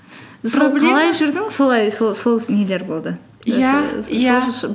жүрдің солай сол нелер болды иә